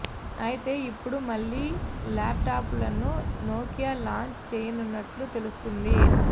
అయితే ఇప్పుడు మళ్లీ ల్యాప్ టాప్లను నోకియా లాంచ్ చేయనున్నట్లు తెలుస్తోంది